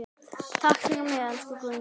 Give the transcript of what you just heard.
Takk fyrir mig, elsku Guðný.